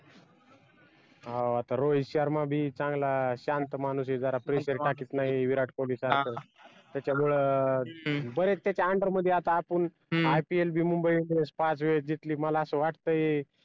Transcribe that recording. हा आता रोहित शर्मा बी चांगला शांत माणूस ये जरा pressure टाकत नाही विराट कोहली सारखं त्याच्यामुळ